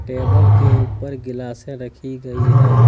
Table के ऊपर गीलासे रखी गई है।